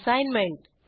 assignment